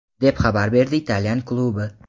deb xabar berdi italyan klubi.